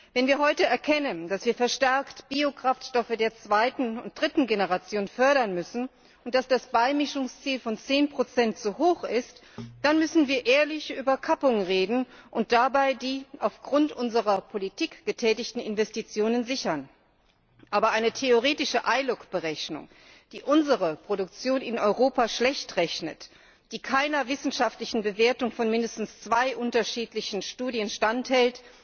Wenn wir heute erkennen, dass wir verstärkt Biokraftstoffe der zweiten und dritten Generation fördern müssen und dass das Beimischungsziel von 10 zu hoch ist, dann müssen wir ehrlich über Kappung reden und dabei die aufgrund unserer Politik getätigten Investitionen sichern. Aber eine theoretische ILUC Berechnung, die unsere Produktion in Europa schlechtrechnet, die keiner wissenschaftlichen Bewertung von mindestens zwei unterschiedlichen Studien standhält,